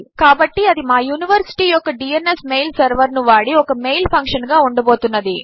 కాబట్టి అది మా యూనివర్సిటీ యొక్క డ్న్స్ మెయిల్ సెర్వర్ ను వాడి ఒక మెయిల్ ఫంక్షన్ గా ఉండబోతున్నది